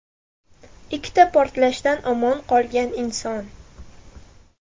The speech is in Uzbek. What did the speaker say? Ikkita portlashdan omon qolgan inson.